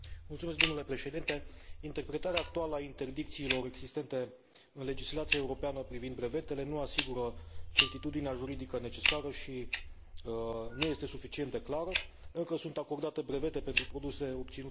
Interpretarea actuală a interdicțiilor existente în legislația europeană privind brevetele nu asigură certitudinea juridică necesară și nu este suficient de clară, pentru că sunt acordate brevete pentru produse obținute prin metode convenționale.